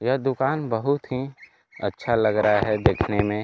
यह दुकान बहुत ही अच्छा लग रहा है देखने में।